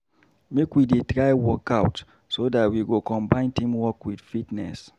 Make we dey try workout so dat we go combine teamwork with fitness.